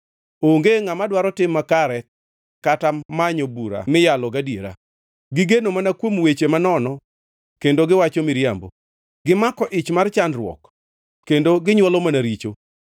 Onge ngʼama dwaro tim makare; kata manyo bura miyalo gadiera. Gigeno mana kuom weche manono kendo giwacho miriambo, gimako ich mar chandruok kendo ginywolo mana richo.